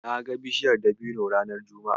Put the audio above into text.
Na ga bishaiyar dabino ranar juma'a.